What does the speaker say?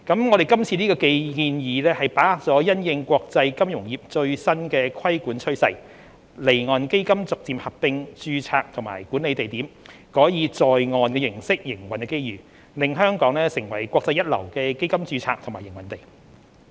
我們今次這個建議把握了因應國際金融業最新的規管趨勢，離岸基金逐漸合併註冊及管理地點，改以"在岸"形式營運的機遇，令香港成為國際一流的基金註冊及營運地。